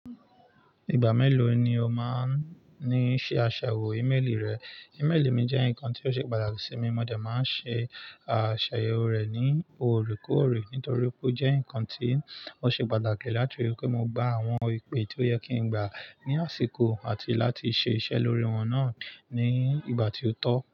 Ìgbà mélòó ni o máa ń ní ṣe àṣàyẹ̀wò ímélì rẹ? Ímélì mi jẹ́ nǹkan tó ṣe pàtàkì sí mi, mo dé máa ń ṣe àṣàyẹ̀wò rẹ̀ ní òrékòré, nítorí pé ó jẹ́ nǹkan tí ó ṣe pàtàkì láti ríi pé mo gba àwọn ìpè tí ó yẹ kí n gbà ní àsìkò àti láti ṣẹ iṣẹ́ lórí wọn náà ní ìgbà tí ó tọ́.